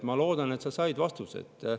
Ma loodan, et sa said vastuse.